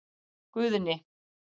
Guðni